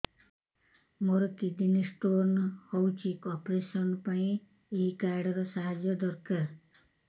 ମୋର kidney stone ହଇଛି operation ପାଇଁ ଏହି କାର୍ଡ ର ସାହାଯ୍ୟ ଦରକାର